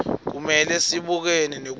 kumele sibukane nekutsi